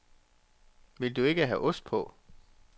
Vil du ikke have ost på?